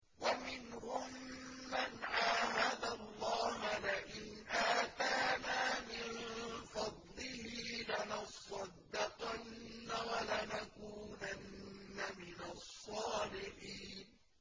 ۞ وَمِنْهُم مَّنْ عَاهَدَ اللَّهَ لَئِنْ آتَانَا مِن فَضْلِهِ لَنَصَّدَّقَنَّ وَلَنَكُونَنَّ مِنَ الصَّالِحِينَ